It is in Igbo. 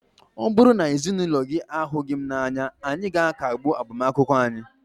ọ bụrụ na ezinụlọ gị ahụghị m n'anya, anyị ga-akagbu agbamakwụkwọ ahụ